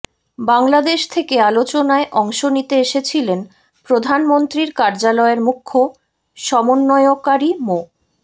বাংলাদেশ থেকে আলোচনায় অংশ নিতে এসেছিলেন প্রধানমন্ত্রীর কার্যালয়ের মুখ্য সমন্বয়কারী মো